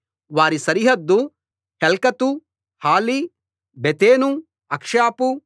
వారి సరిహద్దు హెల్కతు హలి బెతెను అక్షాపు